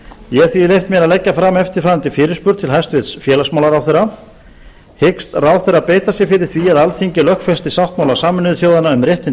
ég hef því leyft mér að leggja fram eftirfarandi fyrirspurn til félagsmálaráðherra aðra hundrað þrjátíu og þrjú hyggst ráðherra beita sér fyrir því að alþingi lögfesti sáttmála sameinuðu þjóðanna um réttindi